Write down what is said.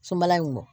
Sobala in kɔ